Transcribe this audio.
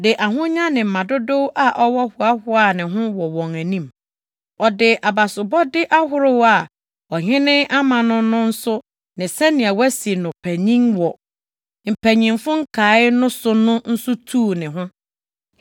de ahonya ne mma dodow a ɔwɔ hoahoaa ne ho wɔ wɔn anim. Ɔde abasobɔde ahorow a ɔhene ama no no nso ne sɛnea wɔasi no panyin wɔ mpanyimfo nkae no so no nso tuu ne ho.